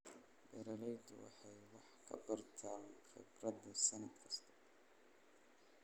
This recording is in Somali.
Beeraleydu waxay wax ka bartaan khibradda sannad kasta.